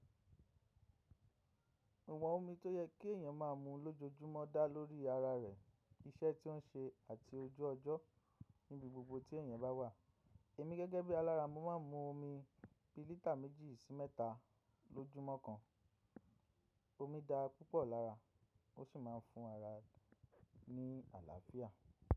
Iwon omi tó yẹ kí èèyàn máa mu lójoojúmọ́ dá lórí ara rẹ̀, iṣẹ́ tí ó ń ṣe àti ojú ọjọ́ níbi gbogbo tí èèyàn bá wà. Èmi gẹ́gẹ́ bí alára, mo máa ń mu omi bi lítà méjì sí mẹ́ta lójúmọ́ kan. Omi dá púpọ̀ lára, ó sì máa ń fún ara ní àlàáfíà.